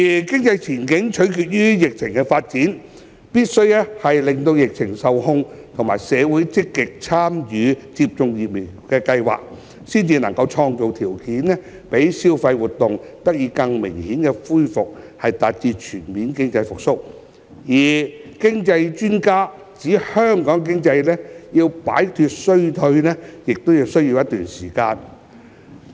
經濟前景取決於疫情發展，疫情必須受控，而社會亦必須積極參與疫苗接種計劃，才能創造條件讓消費活動得以更明顯恢復，達至經濟全面復蘇，而經濟專家亦指香港經濟要一段時間才能擺脫衰退。